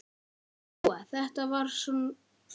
Lóa: Þetta er svona flykki?